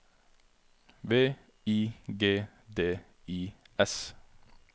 V I G D I S